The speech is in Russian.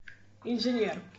инженер